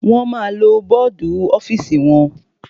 Wọ́n ma lo bọ́dù ọ́fìsì wọn.